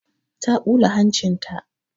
Ta ɓula hancin ta.